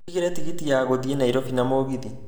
Ũnjĩgĩre tigiti ya gũthiĩ Nairobi na mũgithi